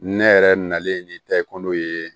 Ne yɛrɛ nalen ni tɛ ko n'o ye